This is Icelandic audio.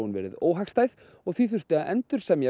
verið óhagstæð og því þurfti að endursemja